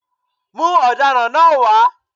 Mú ọ̀daràn náá wá